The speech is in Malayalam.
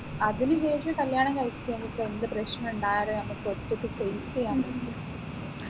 അതിന് ശേഷം കല്യാണം കഴിക്കുമെങ്കിൽ ഇപ്പോ എന്ത് പ്രശ്നുണ്ടായാലും നമ്മക്ക് ഒറ്റയ്ക്ക് face ചെയ്യാൻ പറ്റും